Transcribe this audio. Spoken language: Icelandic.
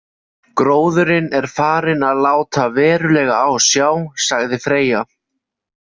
Gróðurinn er farinn að láta verulega á sjá, sagði Freyja.